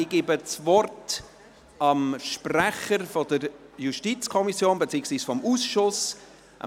Ich gebe das Wort dem Sprecher der JuKo beziehungsweise des Ausschusses: